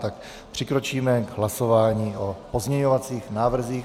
Tak přikročíme k hlasování o pozměňovacích návrzích.